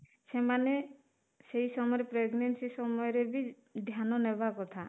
ସେମାନେ ସେଇ ସମୟରେ pregnancy ସମୟରେ ବି ଧ୍ୟାନ ନେବା କଥା